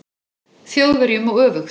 Þjóðverjum og öfugt.